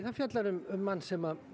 fjallar um mann sem